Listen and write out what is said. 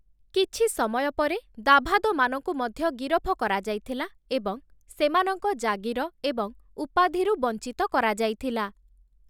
କିଛି ସମୟ ପରେ, ଦାଭାଦମାନଙ୍କୁ ମଧ୍ୟ ଗିରଫ କରାଯାଇଥିଲା ଏବଂ ସେମାନଙ୍କ ଜାଗୀର ଏବଂ ଉପାଧିରୁ ବଞ୍ଚିତ କରାଯାଇଥିଲା ।